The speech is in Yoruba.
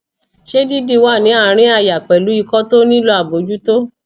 se didi wa ni arin aya pelu iko to nilo abojuto